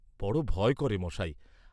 বড় ভয় করে মশায়।